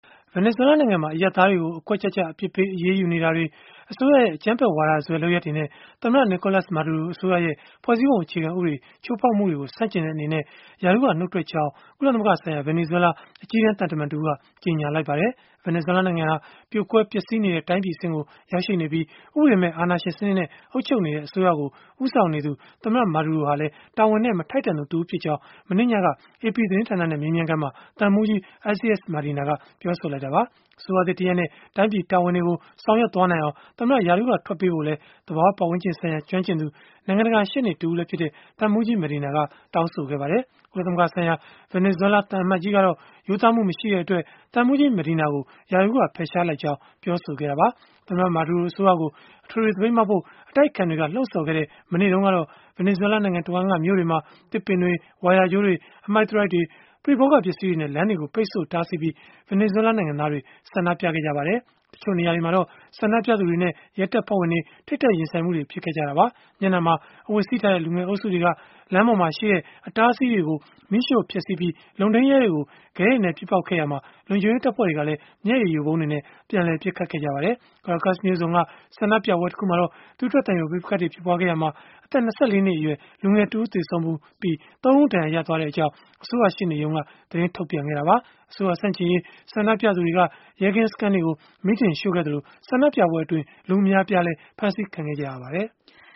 ဗင်နီဇွဲလားနိုင်ငံမှာ အရပ်သားတွေကို အကွက်ကျကျ အပြစ်ပေးအရေးယူနေတာတွေ၊ အစိုးရရဲ့ အကြမ်းဖက်ဝါဒစွဲ လုပ်ရပ်တွေနဲ့ သမ္မတ Nicolas Maduro အစိုးရရဲ့ ဖွဲ့စည်းပုံအခြေခံဥပဒေ ချိုးဖောက်မှုတွေကို ဆန့်ကျင်တဲ့ အနေနဲ့ ရာထူးကနှုတ်ထွက်ကြောင်း ကုလသမဂ္ဂဆိုင်ရာ ဗင်နီဇွဲလား အကြီးတန်းသံတမန်တဦးက ကြေညာလိုက်ပါတယ်။ ဗင်နီဇွဲလားနိုင်ငံဟာ ပြိုကွဲပျက်စီးနေတဲ့ တိုင်းပြည်အဆင့်ကို ရောက်နေပြီး၊ ဥပဒေမဲ့ အာဏာရှင်စနစ်နဲ့ အုပ်ချုပ်နေတဲ့ အစိုးရကို ဦးဆောင်နေတဲ့ သမ္မတ Maduro ဟာလည်း တာဝန်နဲ့ မထိုက်တန်သူတဦးဖြစ်ကြောင်း မနေ့ညက AP သတင်းဌာနနဲ့ မေးမြန်းခန်းမှာ သံမှူးကြီး Isaias Medina ကပြောဆိုလိုက်တာပါ။ အစိုးရသစ်တရပ်နဲ့ တိုင်းပြည်တာဝန်တွေကို ဆောင်ရွက်နိုင်အောင် သမ္မတ ရာထူးကထွက်ပေးဖို့လည်း သဘာဝပတ်ဝန်းကျင်ဆိုင်ရာ ကျွမ်းကျင်သူ နိုင်ငံတကာ ရှေ့နေတဦးလည်းဖြစ်တဲ့ သံမှူးကြီး Medina က တောင်းဆိုခဲ့ပါတယ်။ ကုလသမဂ္ဂဆိုင်ရာ ဗင်နီဇွဲလား သံအမတ်ကြီးကတော့ ရိုးသားမှုမရှိတဲ့အတွက် သံမှူးကြီး Medina ကို ရာထူးက ဖယ်ရှားလိုက်ကြောင်း ပြောဆိုခဲ့တာပါ။ သမ္မတ Maduro အစိုးရကို အထွေထွေ သပိတ်မှောက်ဖို့ အတိုက်အခံတွေက လှုံ့ဆော်ခဲ့တဲ့ မနေ့တုန်းကတော့ ဗင်နီဇွဲလားနိုင်ငံတဝန်းက မြို့တွေမှာ သစ်ပင်တွေ၊ ဝိုင်ယာကြိုးတွေ၊ အမှိုက်သရိုက်တွေ၊ ပရိဘောဂ ပစ္စည်းတွေနဲ့ လမ်းတွေကို ပိတ်ဆို့တားဆီးပြီး ဗင်နီဇွဲလားနိုင်ငံသားတွေ ဆန္ဒပြခဲ့ကြပါတယ်။ တချို့နေရာတွေမှာတော့ ဆန္ဒပြသူတွေနဲ့ ရဲတပ်ဖွဲ့ဝင်တွေ ထိပ်တိုက်ရင်ဆိုင်မှုတွေ ဖြစ်ခဲ့ကြတာပါ။ မျက်နှာမှာ အဝတ်စည်းထားတဲ့ လူငယ်အုပ်စုတွေက လမ်းပေါ်မှာရှိတဲ့ အတားအဆီးတွေကို မီးရှို့ဖျက်ဆီးပြီး၊ လုံထိန်းရဲတွေကို ခဲတွေနဲ့ ပစ်ပေါက်ခဲ့ကြရာမှာ၊ လုံခြုံရေးတပ်ဖွဲ့တွေကလည်း မျက်ရည်ယိုဗုံးတွေနဲ့ ပြန်လည်ပစ်ခတ်ခဲ့ကြပါတယ်။ Caracas မြို့စွန်က ဆန္ဒပြပွဲတခုမှာတော့ သွေးထွက်သံယို ပဋိပက္ခတွေ ဖြစ်ပွားခဲ့ရာက အသက် ၂၄ နှစ်အရွယ် လူငယ်တဦး သေဆုံးပြီး၊ ၃ ဦး ဒဏ်ရာရခဲ့ကြောင်း အစိုးရရှေ့နေရုံးက သတင်းထုတ်ပြန်ခဲ့တာပါ။ အစိုးရဆန့်ကျင်ရေး ဆန္ဒပြသူတွေက ရဲကင်းစခန်းတွေကို မီးတင်ရှို့ခဲ့ကြသလို၊ ဆန္ဒပြပွဲတွေအတွင်း လူအများအပြားလည်း ဖမ်းဆီးခံခဲ့ရပါတယ်။